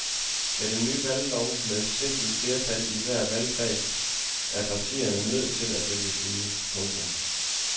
Med den nye valglov med simpelt flertal i hver valgkreds er partierne nødt til at vælge side. punktum